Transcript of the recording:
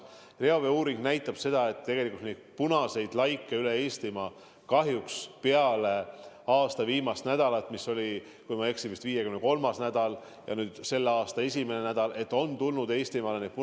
Reoveeuuring aga näitab seda, et tegelikult on punaseid laike üle Eestimaa kahjuks peale eelmise aasta viimast nädalat, mis oli, kui ma ei eksi, vist 53. nädal, nüüd, kui on selle aasta teine nädal, Eestis juurde tulnud.